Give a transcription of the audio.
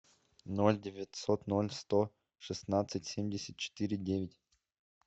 ноль девятьсот ноль сто шестнадцать семьдесят четыре девять